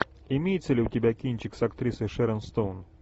имеется ли у тебя кинчик с актрисой шэрон стоун